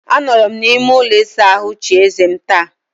Anọrọ m n'ime ụlọ ịsa ahụ chie eze m taa.